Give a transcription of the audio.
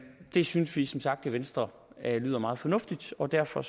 det synes vi som sagt i venstre lyder meget fornuftigt og derfor